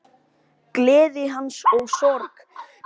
Gleði hans og sorg.